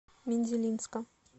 мензелинска